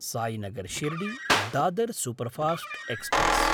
Sainagar शिर्डी–दादर् superfast express